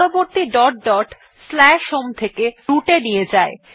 পরবর্তী dot dot আমাদের home থেকে root এ নিয়ে যায়